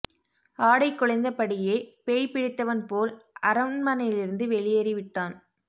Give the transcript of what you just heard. ஆடை குலைந்தபடியே பேய் பிடித்தவன் போல் அரண்மனையிலிருந்து வெளியேறி விட்டான்